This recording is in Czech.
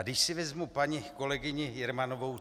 A když si vezmu paní kolegyni Jermanovou.